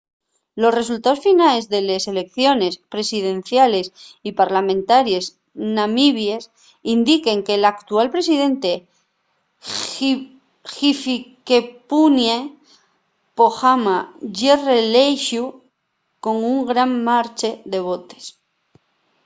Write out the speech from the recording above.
los resultaos finales de les eleiciones presidenciales y parlamentaries namibies indiquen que l’actual presidente hifikepunye pohamba ye reelexíu con un gran marxe de votos